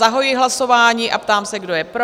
Zahajuji hlasování a ptám se, kdo je pro?